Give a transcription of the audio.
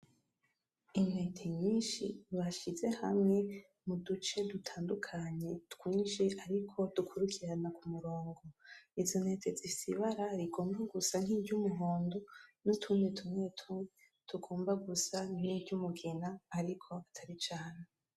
Intete nyishi bashize hamwe mu duce dutandukanye twishi ariko dukurikirana ku murongo izo ntete zifise ibara rigomba gusa niryo umuhondo, n'utundi tugomba gusa n'iryumugina ariko atari cane.